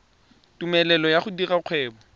tumelelo ya go dira kgwebo